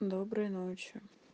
доброй ночи